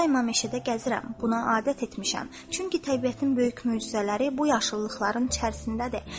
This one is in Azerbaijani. Mən daima meşədə gəzirəm, buna adət etmişəm, çünki təbiətin böyük möcüzələri bu yaşıllıqların içərisindədir.